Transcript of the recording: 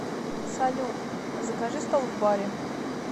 салют закажи стол в баре